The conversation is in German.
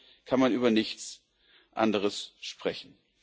Vorher kann man über nichts anderes sprechen.